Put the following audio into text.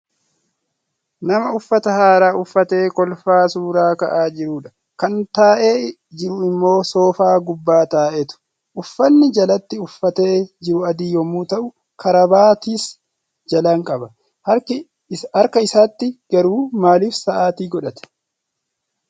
Nama uffata haaraa uffatee kolfaa suura ka'aa jirudha. Kan taa'ee jiru immoo soofaa gubbaa taa'eetu. Uffanni jalatti uffatee jiru adii yommuu ta'u, karabaatiis jalaan qaba. Harka isaatti garuu maalif sa'aatii godhate?